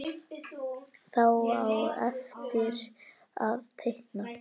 Þá á eftir að teikna.